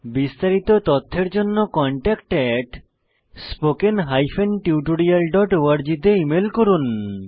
বিস্তারিত তথ্যের জন্য contactspoken tutorialorg তে ইমেল করুন